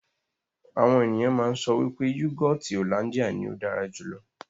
Àwọn ènìyàn máa ń sọ wípé yúgọọ́ti hollandia ní ó dára jù lọ.